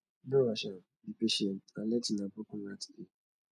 no rush am be patient and let una broken heart heal